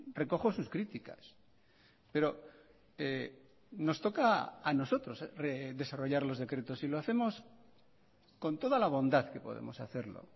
recojo sus críticas pero nos toca a nosotros desarrollar los decretos y lo hacemos con toda la bondad que podemos hacerlo